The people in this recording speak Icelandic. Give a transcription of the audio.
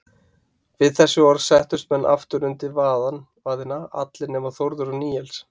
Við þessi orð settust menn aftur undir vaðina, allir nema Þórður og Níels.